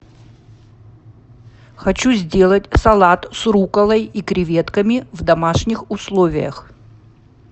хочу сделать салат с рукколой и креветками в домашних условиях